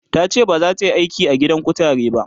tace bazata Yi aiki a gidan kutare ba